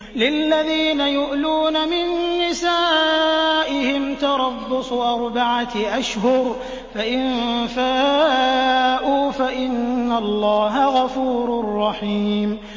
لِّلَّذِينَ يُؤْلُونَ مِن نِّسَائِهِمْ تَرَبُّصُ أَرْبَعَةِ أَشْهُرٍ ۖ فَإِن فَاءُوا فَإِنَّ اللَّهَ غَفُورٌ رَّحِيمٌ